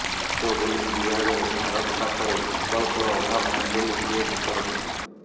ଦ୍ରୁତ ବୋଲିଂ ବିଭାଗରେ ଭାରତ ପାଖରେ ବିକଳ୍ପର ଅଭାବ ନାହିଁ ବୋଲି ସେ ମତ ରଖିଛନ୍ତି